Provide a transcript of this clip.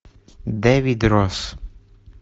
дэвид росс